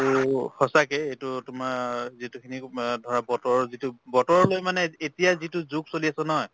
সঁচাকে এইটো তোমাৰ যিটো খিনি ধৰা বতৰৰ যিটো বতৰো লৈ মানে এত~ এতিয়া যিটো যুগ চলি আছে নহয়